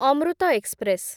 Amrit express